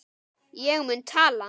Ég mun tala.